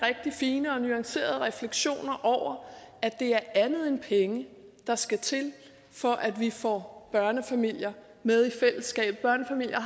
fine og nuancerede refleksioner over at det er andet end penge der skal til for at vi får børnefamilier med i fællesskabet børnefamilier